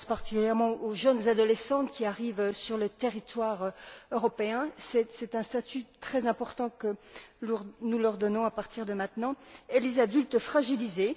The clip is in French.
Je pense particulièrement aux jeunes adolescents qui arrivent sur le territoire européen c'est un statut très important que nous leur donnons à partir de maintenant et aux adultes fragilisés.